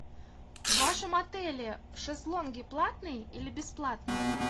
в вашем отеле шезлонги платные или бесплатные